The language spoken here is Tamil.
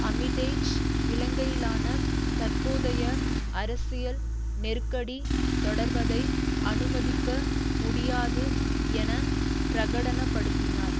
ஆமிடேஜ் இலங்கையிலான தற்போதைய அரசியல் நெருக்கடி தொடர்வதை அனுமதிக்க முடியாது என பிரகடன படுத்தினார்